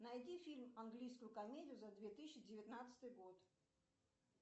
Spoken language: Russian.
найди фильм английскую комедию за две тысячи девятнадцатый год